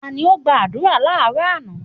Ta ni ó gba àdúrà láàrọ́ àná?